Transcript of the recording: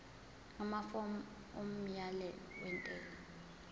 amafomu omyalelo wentela